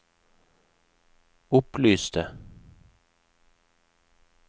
opplyste